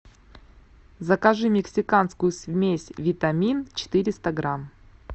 закажи мексиканскую смесь витамин четыреста грамм